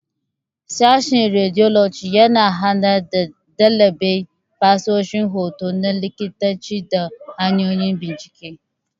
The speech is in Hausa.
Sashen Radiology yana horar da ɗalibai fasahohin hoto na likitanci da hanyoyin bincike.